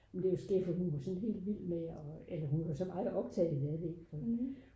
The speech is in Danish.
men det er jo skægt fordi hun var såden helt vild med at eller så meget optaget af det fordi